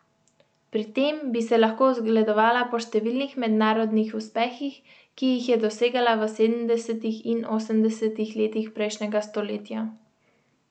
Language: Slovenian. Pri tem bi se lahko zgledovala po številnih mednarodnih uspehih, ki jih je dosegala v sedemdesetih in osemdesetih letih prejšnjega stoletja.